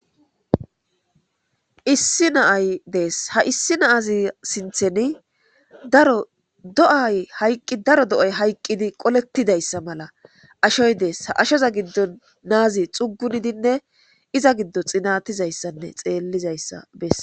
Issi na'ay dess ha issi na'aza sinththen daaro do'ay hayqqidi qolletidaysa malla ashoy dess ha ashshoza giidon na'azi xuugunidinne iza giido xeeliayssa besess.